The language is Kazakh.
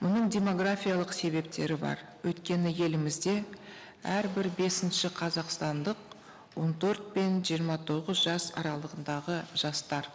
бұның демографиялық себептері бар өйткені елімізде әрбір бесінші қазақстандық он төрт пен жиырма тоғыз жас аралығындағы жастар